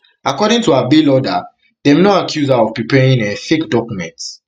according to her bail order dem no accuse her of preparing um fake documents